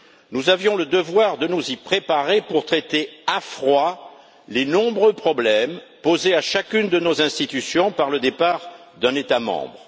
Nous avions le devoir de nous y préparer pour traiter à froid les nombreux problèmes posés à chacune de nos institutions par le départ d'un État membre.